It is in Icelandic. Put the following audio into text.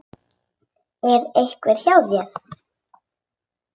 Er einhver hjá þér?